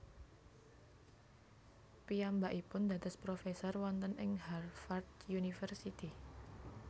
Piyambakipun dados profesor wonten ing Harvard University